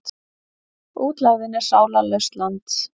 Útlegðin er sálarlaust land.